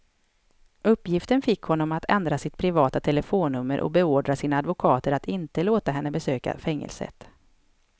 Uppgiften fick honom att ändra sitt privata telefonnummer och beordra sina advokater att inte låta henne besöka fängelset.